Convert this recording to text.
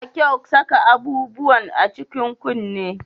Ba kyau saka abubuwan a cikin kunne